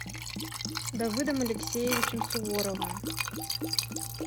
давыдом алексеевичем суворовым